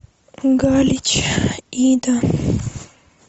галич ида